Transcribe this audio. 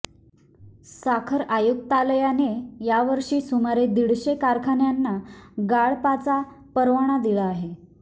साखर आयुक्तालयाने यावर्षी सुमारे दीडशे कारखान्यांना गाळपाचा परवाना दिला आहे